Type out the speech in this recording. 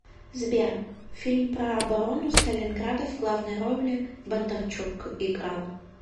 сбер фильм про оборону сталинграда в главной роли бондарчук играл